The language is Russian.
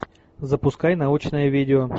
запускай научное видео